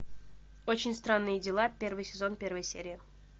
очень странные дела первый сезон первая серия